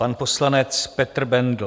Pan poslanec Petr Bendl.